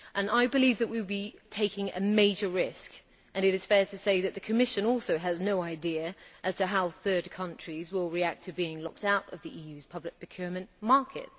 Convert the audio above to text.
I believe that would be taking a major risk, and it is fair to say that the Commission also has no idea as to how third countries will react to being left out of the EU's public procurement market.